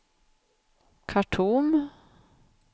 Khartoum